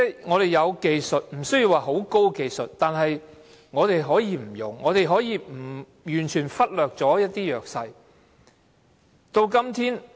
我們有技術，即使不是很高的技術，但我們可以不用，可以完全忽略弱勢人士。